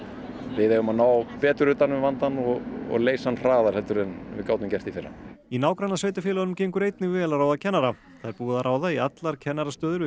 við eigum að ná betur utan um vandann og og leysa hann hraðar en við gátum gert í fyrra í nágrannasveitarfélögunum gengur einnig vel að ráða kennara það er búið að ráða í allar kennarastöður